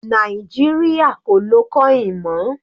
Nàìjíríà kò lọ coin mọ́.